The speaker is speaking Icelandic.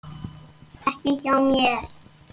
Ekki hjá mér.